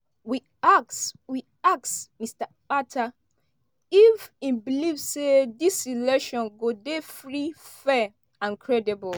we ask we ask mr akpata if e believe say dis election go dey free fair and credible.